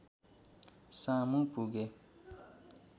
सामु पुगे